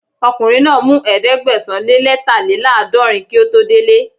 Ọkùnrin náà mú Ẹ̀ẹ́dẹ̀gbẹ̀sán-lé-lẹ́tàléláàdọ̀rin kí ó tó dele